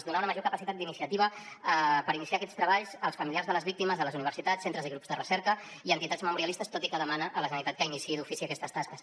donar una major capacitat d’iniciativa per iniciar aquests treballs als familiars de les víctimes les universitats centres i grups de recerca i entitats memorialistes tot i que demana a la generalitat que iniciï d’ofici aquestes tasques